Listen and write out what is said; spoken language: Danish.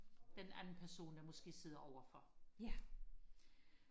den anden person der måske sidder overfor